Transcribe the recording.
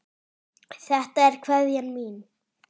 Þetta er kveðjan mín.